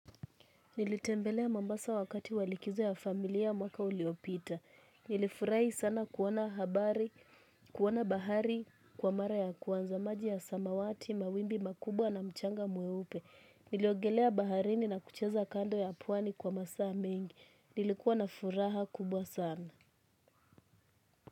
Nilitembelea mambasa wakati wa likizo ya familia mwaka uliopita. Nilifurahi sana kuona habari, kuona bahari, kwa mara ya kwanza maji ya samawati, mawimbi makubwa na mchanga mweupe. Niliogelea baharini na kucheza kando ya pwani kwa masaa mengi. Nilikuwa na furaha kubwa sana.